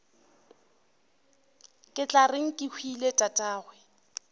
ke tla reng kehwile tatagwe